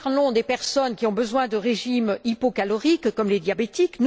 Nous parlons des personnes qui ont besoin de régimes hypocaloriques, comme les diabétiques.